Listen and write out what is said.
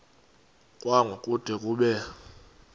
kwango kude kube